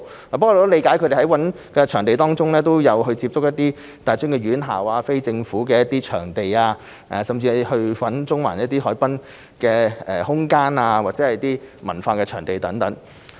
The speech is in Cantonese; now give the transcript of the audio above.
我得悉主辦單位在尋找場地時都有考慮不同的地方，包括大專院校、非政府場地、中環海濱空間、其他文化場地等。